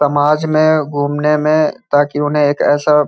समाज में घूमने में ताकि उन्हें एक ऐसा --